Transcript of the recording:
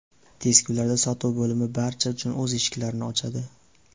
Tez kunlarda sotuv bo‘limi barcha uchun o‘z eshiklarini ochadi.